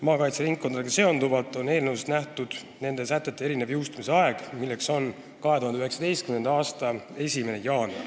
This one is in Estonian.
Eelnõus on ette nähtud maakaitseringkondadega seonduvate sätete erinev jõustumisaeg, 2019. aasta 1. jaanuar.